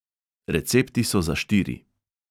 Recepti so za štiri.